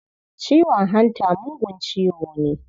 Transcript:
Ciwon hanta mugun ciwo ne.